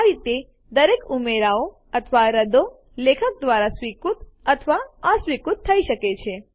આ રીતે દરેક ઉમેરાઓ અથવા રદ્દો લેખક દ્વારા સ્વીકૃત અથવા અસ્વીકૃત થઇ શકે છે